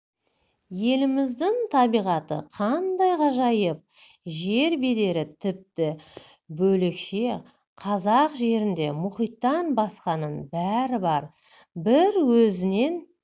еліміздің табиғаты қандай ғажайып жер бедері тіпті бөлекше қазақ жерінде мұхиттан басқаның бәрі бар бір өзінен